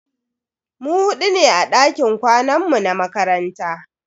Mu hudu ne a dakin kwanan mu na makaranta.